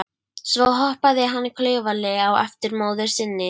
Svo hoppaði hann klaufalega á eftir móður sinni.